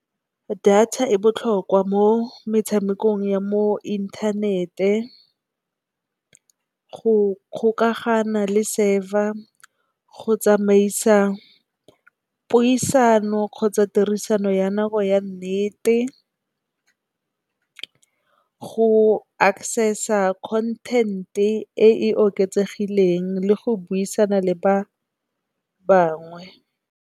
Data e botlhokwa mo metshamekong ya mo inthanete, go kgokagana le server, go tsamaisa puisano kgotsa tirisano ya nako ya nnete. Go access-a content e e oketsegileng le go buisana le ba bangwe.